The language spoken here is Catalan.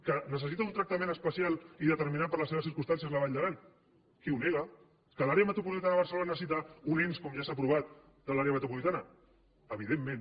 que necessita un tractament especial i determinat per les seves circumstàncies la vall d’aran qui ho nega que l’àrea metropolitana de barcelona necessita un ens com ja s’ha aprovat de l’àrea metropolitana evidentment